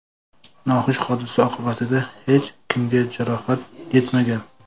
Noxush hodisa oqibatida hech kimga jarohat yetmagan.